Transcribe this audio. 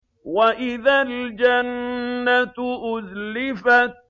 وَإِذَا الْجَنَّةُ أُزْلِفَتْ